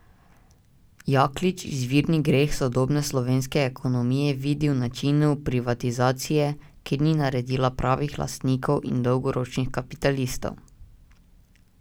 Jaklič izvirni greh sodobne slovenske ekonomije vidi v načinu privatizacije, ki ni naredila pravih lastnikov in dolgoročnih kapitalistov.